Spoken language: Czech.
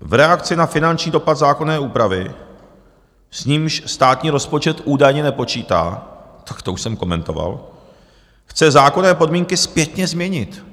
v reakci na finanční dopad zákonné úpravy, s nímž státní rozpočet údajně nepočítá, tak to už jsem komentoval, chce zákonné podmínky zpětně změnit.